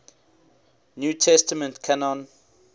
new testament canon